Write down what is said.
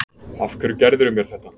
Af hverju gerðirðu mér þetta?